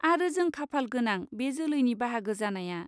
आरो जों खाफाल गोनां बे जोलैनि बाहागो जानाया।